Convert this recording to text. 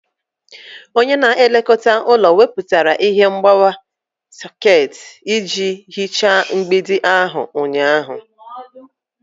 Onye na-elekọta ụlọ wepụrụ ihe mgbawa sekit iji hichaa mgbidi ahụ ụnyaahụ.